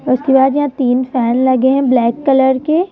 उसके बाद यहां तीन फैन लगे हैं ब्लैक कलर के।